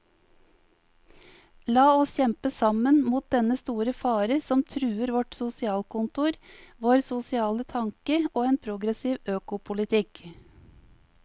La oss kjempe sammen mot dennne store fare som truer vårt sosialkontor, vår sosiale tanke og en progressiv økopolitikk.